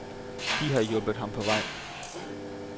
De har hjulpet ham på vej.